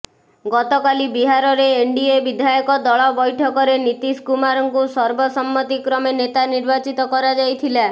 ଗତକାଲି ବିହାରରେ ଏନ୍ଡିଏ ବିଧାୟକ ଦଳ ବୈଠକରେ ନୀତୀଶ କୁମାରଙ୍କୁ ସର୍ବସମ୍ମତିକ୍ରମେ ନେତା ନିର୍ବାଚିତ କରାଯାଇଥିଲା